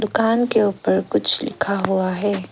दुकान के ऊपर कुछ लिखा हुआ है।